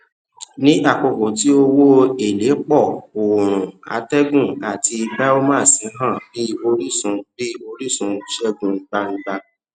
ní àkókò tí owó èlé pọ òòrùn atẹgùn àti biomass hàn bí orísun bí orísun ṣegun gbangba